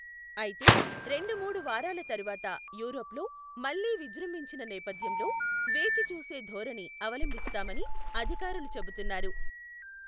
అయితే రెండు మూడు వారాల తరువాత యూరప్ లో మళ్ళీ విజృంభించిన నేపథ్యంలో వేచి చూసే ధోరణి అవలంబిస్తామని అధికారులు చెబుతున్నారు.